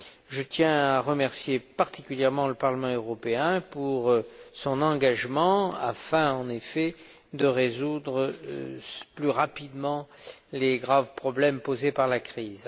Je tiens à remercier particulièrement le Parlement européen pour son engagement afin de résoudre plus rapidement les graves problèmes posés par la crise.